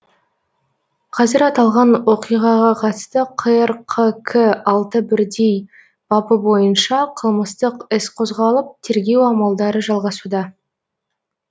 қазір аталған оқиғаға қатысты қрқк алты бірдей бабы бойынша қылмыстық іс қозғалып тергеу амалдары жалғасуда